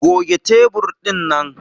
Goge tebur dinnan!